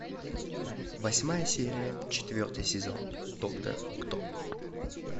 восьмая серия четвертый сезон доктор кто